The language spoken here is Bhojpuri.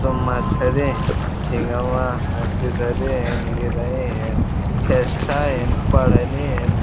तो मछरी हैं| झींगवा है सिधरी है गिरही है खेसटा हैन पढ़नि हैन।